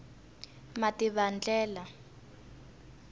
mativandlela